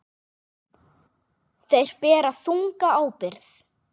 Þeir bera þunga ábyrgð.